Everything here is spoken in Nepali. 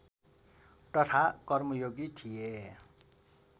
तथा कर्मयोगी थिए